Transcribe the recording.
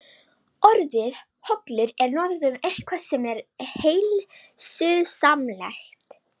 Orðið hollur er notað um eitthvað sem er heilsusamlegt.